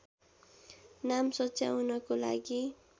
नाम सच्याउनको लागी